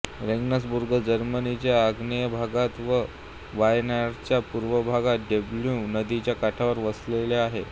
रेगन्सबुर्ग जर्मनीच्या आग्नेय भागात व बायर्नच्या पूर्व भागात डॅन्यूब नदीच्या काठावर वसले आहे